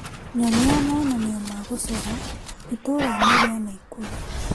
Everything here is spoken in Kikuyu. Nyonia monanio ma gũcora itũra-inĩ rĩa Naĩkurũ .